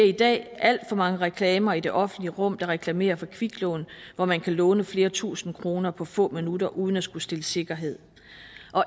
i dag alt for mange reklamer i det offentlige rum der reklamerer for kviklån hvor man kan låne flere tusind kroner på få minutter uden at skulle stille sikkerhed